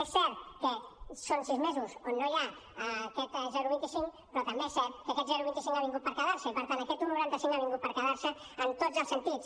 és cert que són sis mesos on no hi ha aquest zero coma vint cinc però també és cert que aquest zero coma vint cinc ha vingut per quedar se i per tant un coma noranta cinc ha vingut per quedar se en tots els sentits